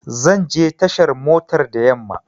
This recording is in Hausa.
Zanje tashar motar da yamma